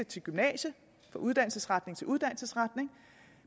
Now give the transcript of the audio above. til gymnasium fra uddannelsesretning til uddannelsesretning